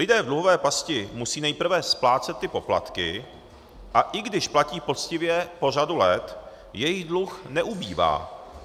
Lidé v dluhové pasti musí nejprve splácet ty poplatky, a i když platí poctivě po řadu let, jejich dluh neubývá.